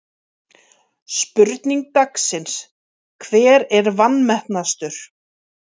Spurning dagsins: Hver er vanmetnastur?